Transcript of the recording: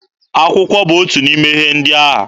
Akwụkwọ bụ otu n'ime ihe ndị a.